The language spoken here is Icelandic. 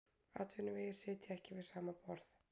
Atvinnuvegir sitja ekki við sama borð